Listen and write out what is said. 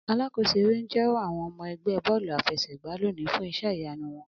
Alakoso ere n jẹwọ àwọn ọmọ ẹgbẹ bọ́ọ̀lú àfẹsẹ̀gbá loni fun iṣẹ iyanu wọn.